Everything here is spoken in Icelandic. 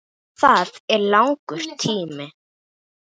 Það er langur tími.